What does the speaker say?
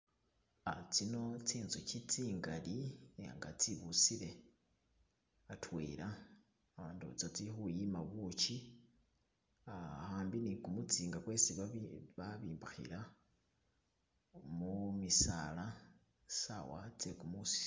Tsino tsinzuki zingali nga zibusile hatwela ndowoza zili kuyima buchi hambi ni gumusinga gwesi bazimbakhila mumisaala sawa zegumusi